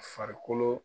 Farikolo